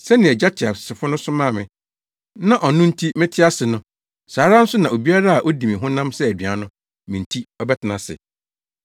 Sɛnea Agya teasefo no somaa me na ɔno nti mete ase no, saa ara nso na obiara a odi me honam sɛ aduan no, me nti ɔbɛtena ase.